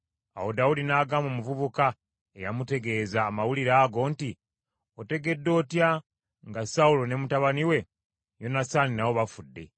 Awo Dawudi n’agamba omuvubuka eyamutegeeza amawulire ago nti, “Otegedde otya nga Sawulo ne mutabani we Yonasaani nabo bafudde?”